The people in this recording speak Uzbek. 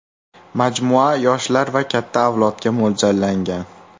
Majmua yoshlar va katta avlodga mo‘ljallangan.